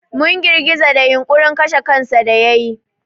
Mun girgiza da yunƙurin kashe kansa da yayi.